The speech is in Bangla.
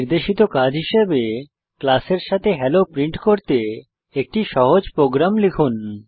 নির্দেশিত কাজ হিসাবে ক্লাসের সাথে হেলো প্রিন্ট করতে একটি সহজ প্রোগ্রাম লিখুন